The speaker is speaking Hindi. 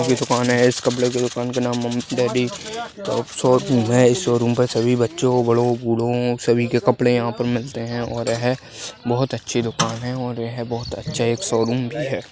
एक कपड़े की दुकान है इस कपड़े की दुकान का नाम मम्मी डॅडी शोरूम है इस शोरूम पे सभी बच्चों बड़ो बूढो सभी के कपड़े यहा पर मिलते है और यह बहोत अच्छी दुकान है और यह बहुत अच्छा एक शोरूम भी है।